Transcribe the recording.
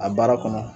A baara kɔnɔ